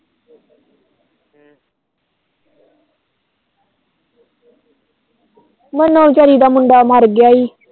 ਨੰਨੂੰ ਵਿਚਾਰੀ ਦਾ ਮੁੰਡਾ ਮਰ ਗਿਆ ਈ